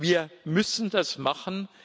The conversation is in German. Wir müssen das machen